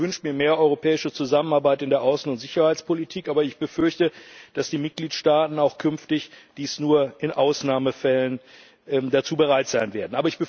Auch ich wünsche mir mehr europäische Zusammenarbeit in der Außen und Sicherheitspolitik. Aber ich befürchte, dass die Mitgliedstaaten auch künftig nur in Ausnahmefällen dazu bereit sein werden.